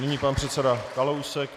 Nyní pan předseda Kalousek.